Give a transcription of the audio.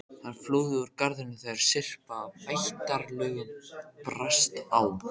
Hann flúði úr garðinum þegar syrpa af ættjarðarlögum brast á.